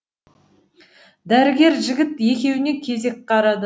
дәрігер жігіт екеуіне кезек қарады